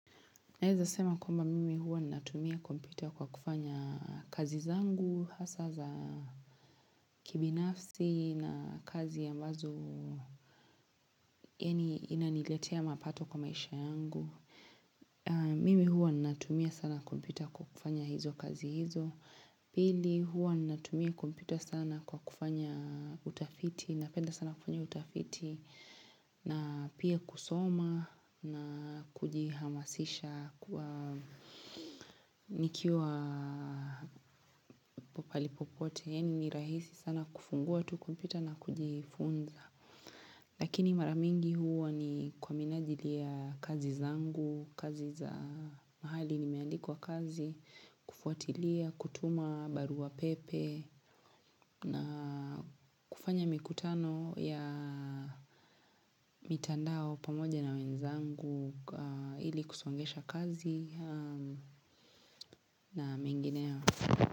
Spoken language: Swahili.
Naeza sema kwamba mimi huwa natumia kompyuta kwa kufanya kazi zangu, hasa za kibinafsi na kazi ambazo inaniletea mapato kwa maisha yangu. Mimi huwa natumia sana kompyuta kwa kufanya hizo kazi hizo. Pili huwa natumia kompyuta sana kwa kufanya utafiti napenda sana kufanya utafiti na pia kusoma na kujihamasisha kwa nikiwa po pahali popote ya ni nirahisi sana kufungua tu kompyuta na kujifunza. Lakini maramingi huwa ni kwa minajili ya kazi zangu, kazi za mahali nimeandikwa kazi, kufuatilia, kutuma, barua pepe, na kufanya mikutano ya mitandao pamoja na wenzangu ili kusongesha kazi na mengineyo.